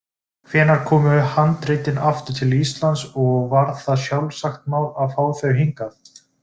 Hvenær komu handritin aftur til Íslands og var það sjálfsagt mál að fá þau hingað?